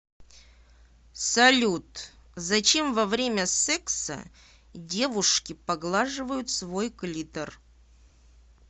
салют зачем во время секса девушки поглаживают свой клитор